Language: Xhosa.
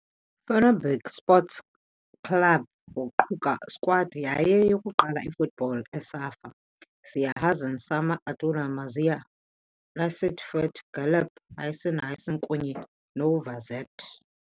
Fenerbahçe Sports Club waquka squad yayo yokuqala football Asaf, Ziya Hasan, Sami, Ayatelluh, Mazhar, Necip Fethi, Galip, Hüseyin, Hasan kunye Nevzat.